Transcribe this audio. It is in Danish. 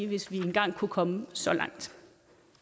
hvis vi engang kunne komme så langt